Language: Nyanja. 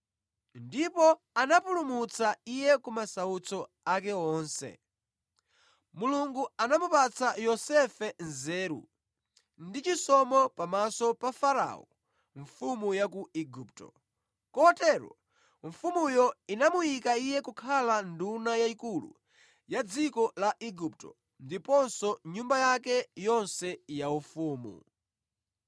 ndipo anamupulumutsa iye kumasautso ake onse. Mulungu anamupatsa Yosefe nzeru ndi chisomo pamaso pa Farao mfumu ya ku Igupto, kotero mfumuyo inamuyika iye kukhala nduna yayikulu ya dziko la Igupto ndiponso nyumba yake yonse yaufumu.